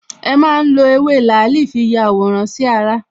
E má n lo Ewé làálì fi yàwòrán sí ara